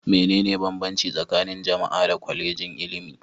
Mene ne banbanci tsakanin jam'a da Kwallejin ilimi?